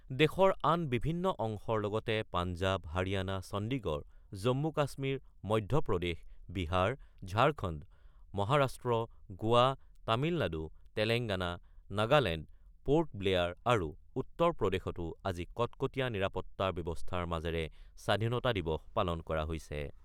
দেশৰ আন বিভিন্ন অংশৰ লগতে পাঞ্জাব, হাৰিয়ানা, চণ্ডীগড়, জম্মু-কাশ্মীৰ, মধ্যপ্ৰদেশ, বিহাৰ, ঝাৰখণ্ড, মহাৰাষ্ট্ৰ, গোৱা, তামিলনাডু, তেলেংগানা, নাগালেণ্ড, পোৰ্ট ব্লেয়াৰ আৰু উত্তৰ প্ৰদেশতো আজি কটকটীয়া নিৰাপত্তা ব্যৱস্থাৰ মাজেৰে স্বাধীনতা দিৱস পালন কৰা হৈছে।